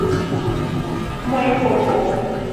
майкопом